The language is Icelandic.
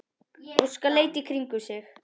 Óskar leit í kringum sig.